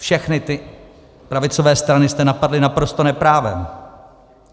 Všechny ty pravicové strany jste napadli naprosto neprávem.